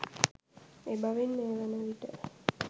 එබැවින් මේවන විට